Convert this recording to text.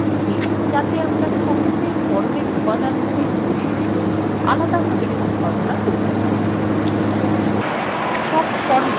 আমরা এটি করছি যাতে আমরা সহজে ফর্মের উপাদানগুলির বৈশিষ্ট্য আলাদাভাবে সম্পাদনা করতে পারি